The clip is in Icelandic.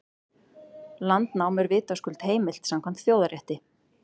Landnám er vitaskuld heimilt samkvæmt þjóðarétti.